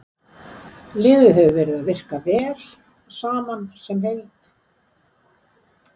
Liðið hefur verið að virka vel saman sem heild.